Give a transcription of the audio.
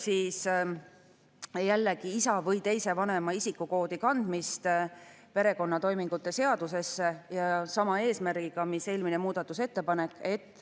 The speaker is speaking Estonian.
11. muudatusettepanek selgitab isa või teise vanema isikukoodi kandmist perekonnatoimingute seaduse alusel ja see on sama eesmärgiga mis eelmine muudatusettepanek.